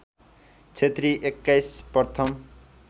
क्षेत्री २१ प्रथम